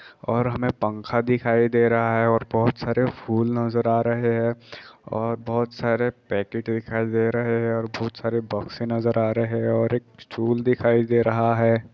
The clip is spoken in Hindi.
और हमे पंखा दिखाई दे रहा है और बहुत सारे फूल नजर आ रहे है और बहुत सारे पैकेट दिखाई दे रहे है और बहुत सारे बोक्से नजर आ रहे है और एक स्टूल दिखाई दे रहा है।